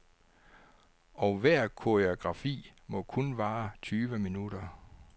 Og hver koreografi må kun vare tyve minutter.